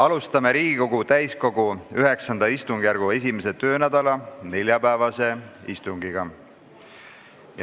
Alustame Riigikogu täiskogu IX istungjärgu 1. töönädala neljapäevast istungit.